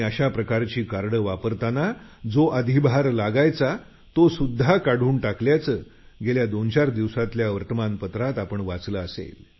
अशा प्रकारची कार्ड वापरताना जो अधिभार लागायचा तोसुध्दा काढून टाकल्याचं गेल्या दोनचार दिवसातल्या वर्तमान पत्रात आपण वाचलं असेल